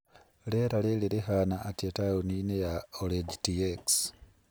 Rĩera rĩrĩ rĩhaana atĩa taũni-inĩ ya orange tx